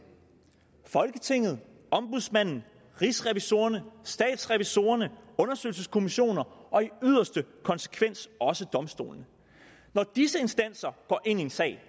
folketinget ombudsmanden rigsrevisorerne statsrevisorerne undersøgelseskommissioner og i yderste konsekvens også domstolene når disse instanser går ind i en sag